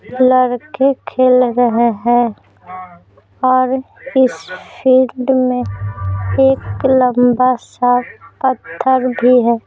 लड़के खेल रहे हैं और इस फील्ड में एक लंबा सा पत्थर भी है।